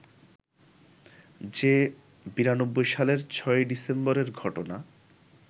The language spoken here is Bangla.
যে ৯২ সালের ৬ই ডিসেম্বরের ঘটনা